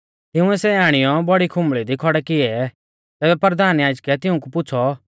तिंउऐ सै आणियौ बौड़ी खुंबल़ी दी खौड़ै किऐ तैबै परधान याजकै तिऊंकु पुछ़ौ